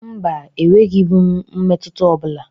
Mba, enwebughi m mmetụta ọbụla.